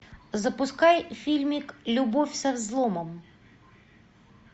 запускай фильмик любовь со взломом